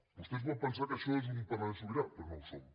vostè es pot pensar que això és un parlament sobirà però no ho som